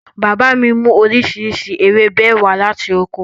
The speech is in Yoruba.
Bàbá mi mú oríṣiríṣi ewébẹ̀ wá láti oko